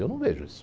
Eu não vejo isso.